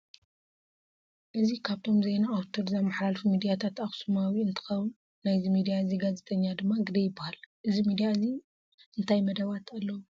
እዚ ካብቶም ዜና ኣውትር ዘማሓላልፉ ሚድያታት ኣክሱማዊ እንትከውን ናይዚ ሚድያ እዚ ጋዜጠኛ ድማ ግደይ ይበሃል። ኣብዚ ምድያ እዚ እንታይ መደባት ኣለው ?